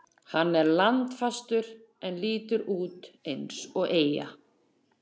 Hann er landfastur en lítur út eins og eyja.